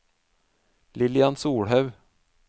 Lillian Solhaug